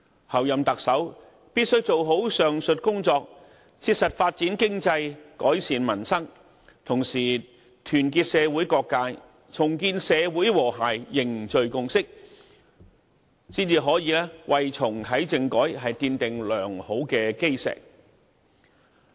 候任特首必須做好上述工作，切實發展經濟、改善民生，同時團結社會各界，重建社會和諧，凝聚共識，才可以為重啟政改奠定良好的基石。